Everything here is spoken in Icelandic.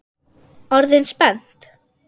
Orðin spennt?